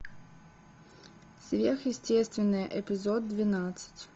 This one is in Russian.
сверхъестественное эпизод двенадцать